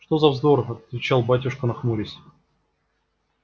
что за вздор отвечал батюшка нахмурясь